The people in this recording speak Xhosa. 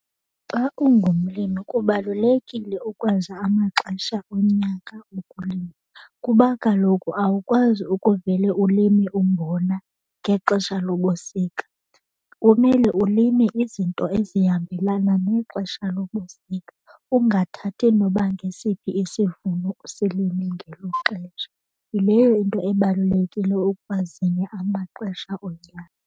Xa ungumlimi kubalulekile ukwazi amaxesha onyaka okulima kuba kaloku awukwazi ukuvele ulime umbona ngexesha lobusika. Kumele ulime izinto ezihambelana nexesha lobusika, ungathathi noba ngesiphi isivuno usilime ngelo xesha. Yileyo into ebalulekile ukwazini amaxesha onyaka.